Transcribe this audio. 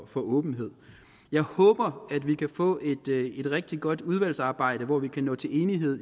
for åbenhed jeg håber at vi kan få et rigtig godt udvalgsarbejde hvor vi kan nå til enighed